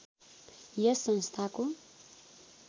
यस संस्थाको